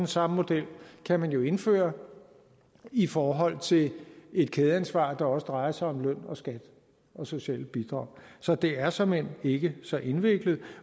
samme model kan man jo indføre i forhold til et kædeansvar der også drejer sig om løn og skat og sociale bidrag så det er såmænd ikke så indviklet